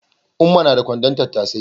Umma na da kwandon tattasai